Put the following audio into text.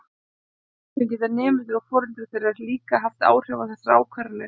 Stundum geta nemendur og foreldrar þeirra líka haft áhrif á þessar ákvarðanir.